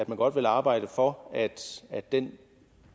man godt vil arbejde for at den